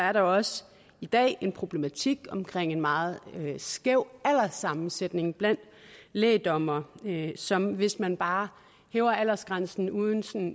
er der også i dag en problematik omkring en meget skæv alderssammensætning blandt lægdommere som hvis man bare hæver aldersgrænsen uden